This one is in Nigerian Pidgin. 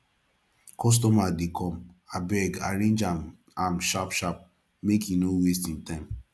customer dey come abeg arrange am am sharp sharp make e no waste im time